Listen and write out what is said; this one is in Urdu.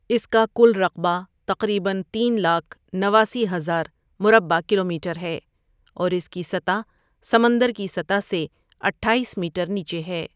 اس کا کل رقبہ تقریباً تین لاکھ نواسی ہزار مربع کلومیٹر ہے اور اس کی سطح سمندر کی سطح سے اٹھایس میٹر نیچے ہے ۔